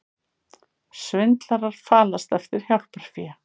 Svindlarar falast eftir hjálparfé